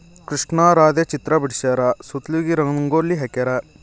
ಕೃಷ್ಣ ರಾಧೆ ಚಿತ್ರ ಬಿಡ್ಸ್ಯಾರ ಸುತ್ತಲೀಗಿ ರಂಗೋಲಿ ಹಾಕ್ಯಾರ.